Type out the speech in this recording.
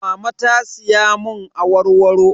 Mama ta siya mun awarwaro.